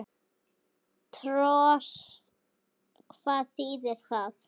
Tors. hvað þýðir það?